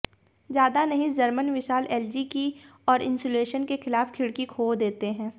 ज्यादा नहीं जर्मन विशाल एलजी की और इन्सुलेशन के खिलाफ खिड़की खो देते हैं